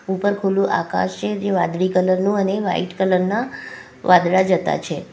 ઉપર ખુલ્લુ આકાશ છે જે વાદળી કલર નું અને વાઈટ કલર ના વાદળા જતા છે.